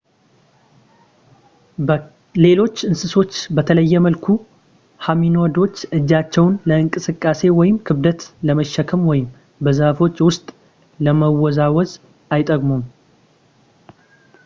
ከሌሎች እንስሶች በተለየ መልኩ ሆሚኒዶች እጆቻቸውን ለእንቅስቃሴ ወይም ክብደት ለመሸከም ወይም በዛፎቹ ውስጥ ለመወዛወዝ አይጠቀሙም